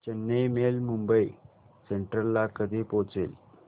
Chennai mail Mumbai central ला कधी पोहचेल